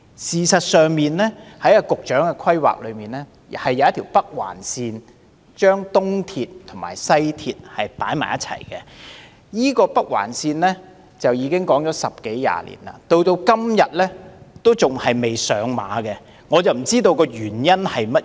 事實上，在現時的規劃中有一條北環線連接東鐵線和西鐵線，但這條北環線已討論了十多二十年，至今仍未付諸實行，我不知道當中原因何在。